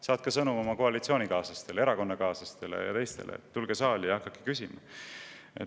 Saatke sõnum oma koalitsioonikaaslastele ja erakonnakaaslastele, et nad tuleksid saali ja hakkaksid küsima.